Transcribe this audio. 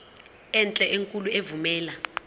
enhle enkulu evumela